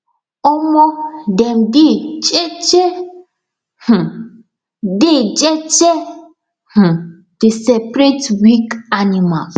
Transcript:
um dem dey jeje um dey jeje um dey separate weak animals